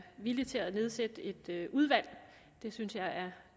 villig til at nedsætte et udvalg det synes jeg